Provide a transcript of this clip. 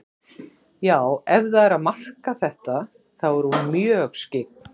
Já, ef það er að marka þetta, þá er hún mjög skyggn.